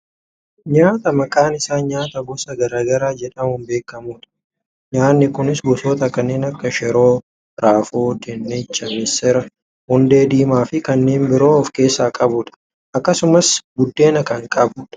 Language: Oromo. Nyaata maqaan isaa nyaata gosa gara garaa jedhamuun beekkamudha. Nyaanni kunis gosoota kanneen akka shiroo, raafuu, dinnicha, missira, hundee diimaa fi kanneen biroo of keessaa qabudha. Akkasumas buddeena kan qabudha.